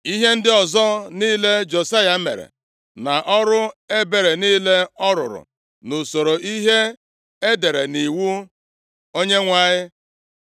Ihe ndị ọzọ niile Josaya mere, na ọrụ ebere niile ọ rụrụ nʼusoro ihe e dere nʼiwu Onyenwe anyị,